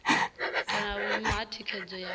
kana vhuimo ha thikhedzo ya